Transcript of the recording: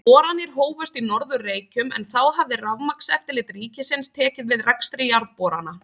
Boranir hófust á Norður-Reykjum, en þá hafði Rafmagnseftirlit ríkisins tekið við rekstri jarðborana.